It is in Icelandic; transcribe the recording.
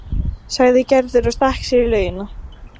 sagði Gerður og stakk sér í laugina.